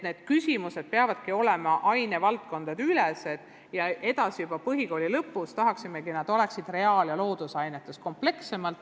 Need küsimused peavadki olema ainevaldkondadeülesed ja põhikooli lõpus tahaksime, et reaal- ja loodusainetes oleksid need esitatud komplekssemalt.